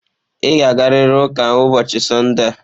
Ị ga-agarịrị ụka ụbọọchi Sọnde a.